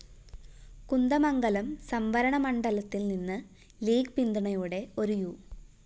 കുന്ദമംഗലം സംവരണമണ്ഡലത്തില്‍നിന്ന് ലീഗ്‌ പിന്തുണയോടെ ഒരു യു